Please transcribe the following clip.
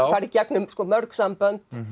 fara í gegnum mörg sambönd